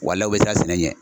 Walayi u bɛ siran sɛnɛ ɲɛ.